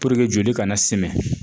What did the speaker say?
joli kana simi